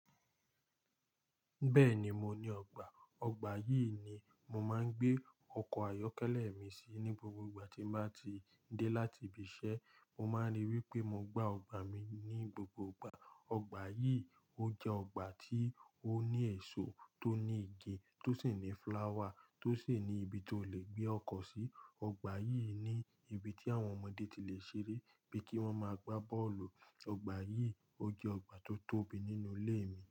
Beeni, mo ni ogba. Ọgbà yìí ni mo máa ń gbé ọkọ̀ ayọ́kẹ́lẹ́ mi sí ní gbogbo ìgbà tí n ba ti dé láti ibi iṣẹ́. Mo máa ń rí wipé mo gba ọgbà mi ní gbogbo ìgbà. Ọgbà yìí, ó jẹ́ ọgbà tí ó ní èso, tó ní igi, tó sì ní fúláwà, tó sì ní ibi tó lè gbé ọkọ̀ sí. Ọgbà yìí ni ibi tí àwọn ọmọdé ti lè ṣeré bíi kí wọ́n máa gbá bọ́ọ̀lù. Ọgbà yìí, ó jẹ́ ọgbà tó tóbi nínú ilé mi.